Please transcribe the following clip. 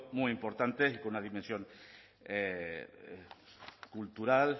muy importante y con una dimensión cultural